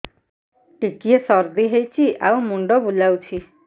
ଟିକିଏ ସର୍ଦ୍ଦି ହେଇଚି ଆଉ ମୁଣ୍ଡ ବୁଲାଉଛି